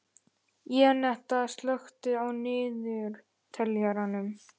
Jenetta, slökktu á niðurteljaranum.